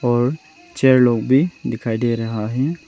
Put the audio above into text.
और चेयर लोग भी दिखाई दे रहा है।